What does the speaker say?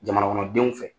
Jamana kɔnɔdenw fɛ